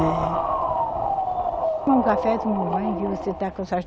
É. Toma um café, tomar um banho, que você está